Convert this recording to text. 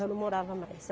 Já não moravam mais.